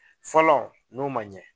Fɔlɔ n'o ma ɲɛ